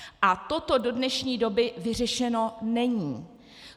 A toto do dnešní doby vyřešeno není.